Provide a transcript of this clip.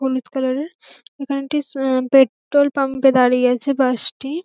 হলুদ কালারের এখানে একটি আহ পেট্রোল পাম্প -এ দাঁড়িয়ে আছে বাস টি।